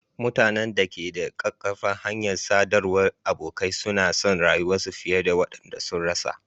Mutanen da ke da ƙaƙƙarfan hanyar sadarwar abokai suna son rayuwa fiye da waɗanda sun rasa.